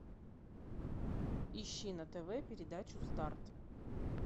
ищи на тв передачу старт